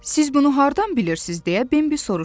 Siz bunu hardan bilirsiz, deyə Bembi soruştu.